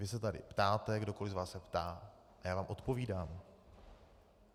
Vy se tady ptáte, kdokoli z vás se ptá a já vám odpovídám.